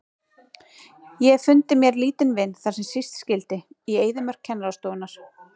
Ég hef fundið mér litla vin þar sem síst skyldi, í eyðimörk kennarastofunnar.